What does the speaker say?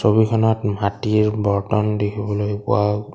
ছবিখনত মাটিৰ বৰ্তন দেখিবলৈ পোৱা --